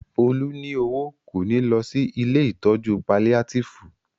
Olú ní owó, kò ní lọ sí ilée ìtọ́jú paliátìfù